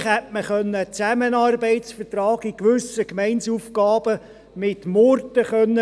Vielleicht hätte man mit Murten einen Zusammenarbeitsvertrag für gewisse Gemeindeaufgaben finden können.